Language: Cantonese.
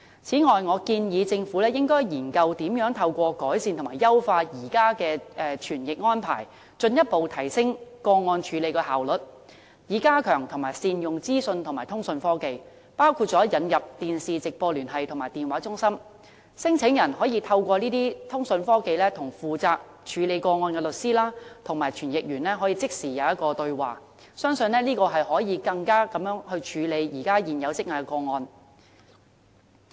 此外，我建議政府研究，如何透過改善和優化現有的傳譯安排，進一步提升個案的處理效率，以及加強和善用資訊和通訊科技，包括引入電視直播聯繫和電話中心，讓聲請人透過這些通訊科技與負責個案的律師和傳譯人即時對話，相信可以加快處理現時積壓的個案。